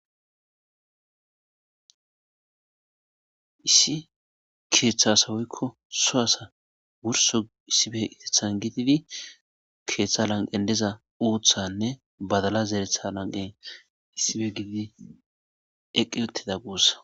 Issi ketha asa woykon so asa wurso issipetethan gididi ketha lanqen diza uthanne badala zeretha lanqen issipe gididi eqi utida gusa